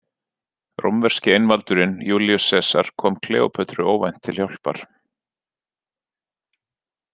Rómverski einvaldurinn Júlíus Sesar kom Kleópötru óvænt til hjálpar.